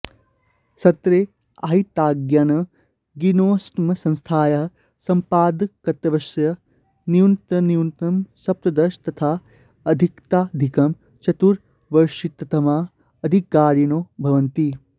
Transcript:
सत्रे आहिताग्न्यग्निष्टोमसंस्थायाः सम्पादकत्वस्य न्यूनातिन्यूनं सप्तदश तथा अधिकादधिकं चतुर्विंशतितमाः अधिकारिणो भवन्ति